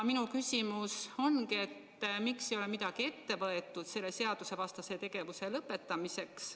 Minu küsimus ongi, miks ei ole midagi ette võetud selle seadusevastase tegevuse lõpetamiseks.